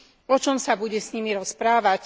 O čom sa bude s nimi rozprávať?